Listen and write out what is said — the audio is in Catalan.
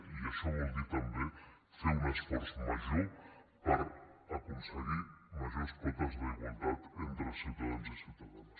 i això vol dir també fer un esforç major per aconseguir majors quotes d’igualtat entre ciutadans i ciutadanes